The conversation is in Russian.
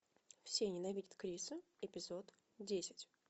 все ненавидят криса эпизод десять